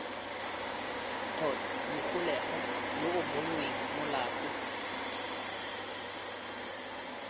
kgotsa mogolegwa yo bonweng molato